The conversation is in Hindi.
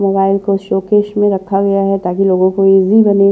मोबाइल को शोकेश में रखा गया है ताकि लोगों को इजी बने --